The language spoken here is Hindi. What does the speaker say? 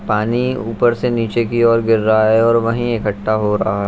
पानी ऊपर से नीचे की ओर गिर रहा है और वहीं इकट्ठा हो रहा है।